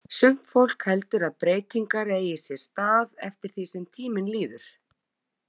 Sumt fólk heldur að breytingar eigi sér stað eftir því sem tíminn líður.